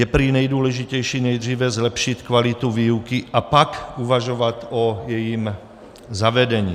Je prý nejdůležitější nejdříve zlepšit kvalitu výuky, a pak uvažovat o jejím zavedení.